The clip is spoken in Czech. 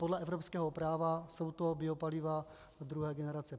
Podle evropského práva jsou to biopaliva druhé generace.